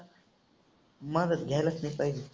माझा घ्यायलाच नाही पाहिजे.